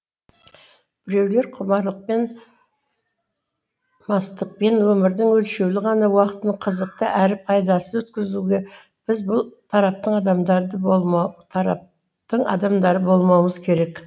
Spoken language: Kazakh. біреулер құмарлықпен мастықпен өмірдің өлшеулі ғана уақытын қызықты әрі пайдасыз өткізуге біз бұл тараптың адамдары болмаумыз керек